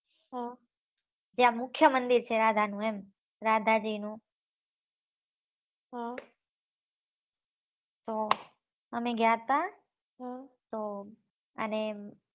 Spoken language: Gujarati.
ત્યાં મુખ્ય મંદિર છે રાધા નું એમ રાધાજી નું અમે ગયા તા તો અને